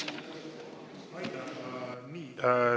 Aitäh!